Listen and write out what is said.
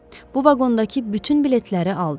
Bu vaqondakı bütün biletləri aldıq.